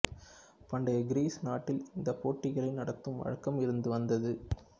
பண்டைய கிரீஸ் நாட்டில் இந்தப் போட்டிகளை நடத்தும் வழக்கம் இருந்து வந்தது